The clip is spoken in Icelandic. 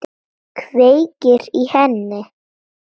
Kveikir í henni.